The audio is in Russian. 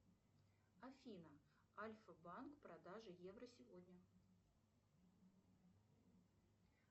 афина альфа банк продажа евро сегодня